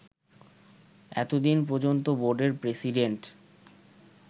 এতদিন পর্যন্ত বোর্ডের প্রেসিডেন্ট